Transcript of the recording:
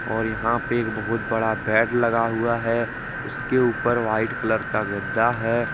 और यहां पे एक बहुत बड़ा बेड लगा हुआ है उसके ऊपर व्हाइट कलर का गद्दा है।